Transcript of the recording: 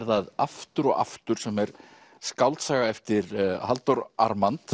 það aftur og aftur sem er skáldsaga eftir Halldór